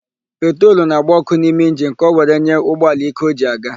Petrolu na-agba ọ́kụ́ n'ime injini ka o were nye ụgbọala íké o ji aga.